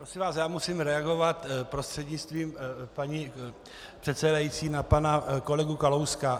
Prosím vás, já musím reagovat prostřednictvím paní předsedající na pana kolegu Kalouska.